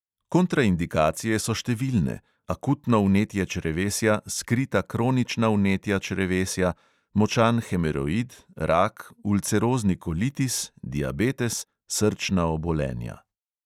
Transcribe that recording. Kontraindikacije so številne: akutno vnetje črevesja, skrita kronična vnetja črevesja, močan hemoroid, rak, ulcerozni kolitis, diabetes, srčna obolenja.